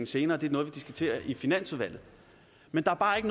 senere det er noget vi diskuterer i finansudvalget men der er bare ikke